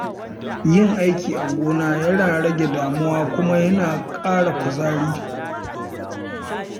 Yin aiki a gonaki yana rage damuwa kuma yana ƙara kuzari.